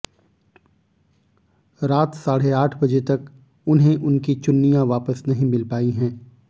रात साढ़े आठ बजे तक उन्हें उनकी चुन्नियां वापस नहीं मिल पाई हैं